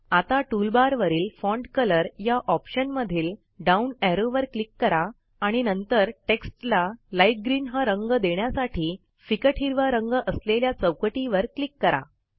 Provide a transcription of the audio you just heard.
आता टूलबारवरील font colour या ऑप्शनमधील डाऊन ऍरोवर क्लिक करा आणि नंतर टेक्स्टला लाइट ग्रीन हा रंग देण्यासाठी फिकट हिरवा रंग असलेल्या चौकटीवर क्लिक करा